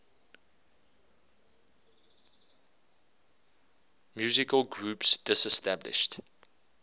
musical groups disestablished